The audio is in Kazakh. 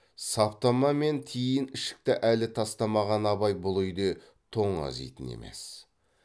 саптама мен тиін ішікті әлі тастамаған абай бұл үйде тоңазитын емес